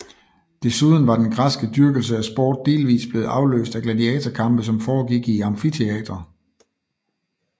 Desuden var den græske dyrkelse af sport delvis blevet afløst af gladiatorkampe som foregik i amfiteatre